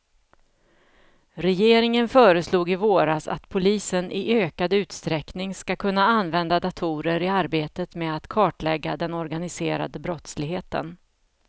Regeringen föreslog i våras att polisen i ökad utsträckning ska kunna använda datorer i arbetet med att kartlägga den organiserade brottsligheten.